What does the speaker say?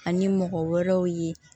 Ani mɔgɔ wɛrɛw ye